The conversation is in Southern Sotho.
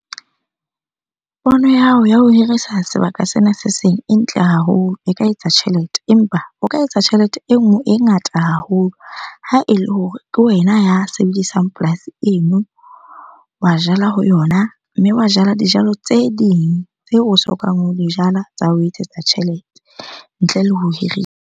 Pono ya hao ya ho hirisa sebaka sena se seng e ntle haholo, o ka etsa tjhelete. Empa o ka etsa tjhelete e nngwe e ngata haholo ha ele hore ke wena ya sebedisang polasi eno, wa jala ho yona. Mme wa jala dijalo tse ding tse o sokang o di jala tsa o etsetsa tjhelete ntle le ho hirisa.